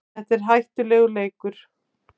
Þetta er hættulegur leikur